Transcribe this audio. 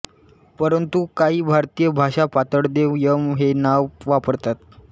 परंतु काही भारतीय भाषा पाताळदेव यम हे नाव वापरतात